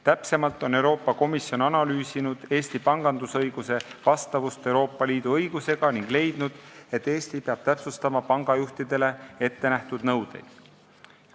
Täpsemalt on Euroopa Komisjon analüüsinud Eesti pangandusõiguse vastavust Euroopa Liidu õigusele ning leidnud, et Eesti peab täpsustama pangajuhtidele ettenähtud nõudeid.